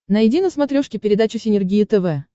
найди на смотрешке передачу синергия тв